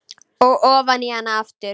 Og ofan í hana aftur.